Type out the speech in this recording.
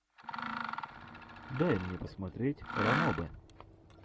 дай мне посмотреть ранобэ